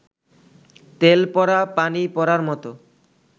তেল পড়া, পানি পড়ার মতো